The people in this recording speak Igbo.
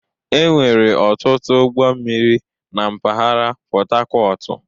Enwere ọtụtụ ụgbọ mmiri na mpaghara Pọtakọọtụ.